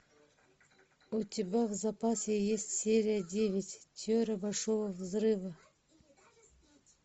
у тебя в запасе есть серия девять теория большого взрыва